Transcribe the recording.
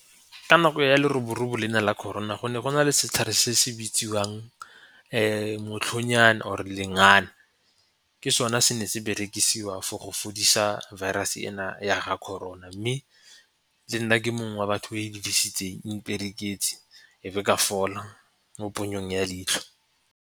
Ka nako ya leroborobo lena la Corona go ne go na le setlhare se se bitsiwang motlhonyana or-e lengana. Ke sone se na se berekisiwa for go fodisa virus ena ya ga Corona mme le nna ke mongwe wa batho o e dirisitseng, e mpereketse e be ka fola mo ponyong ya leitlho.